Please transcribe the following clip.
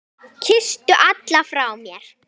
Kysstu alla frá mér.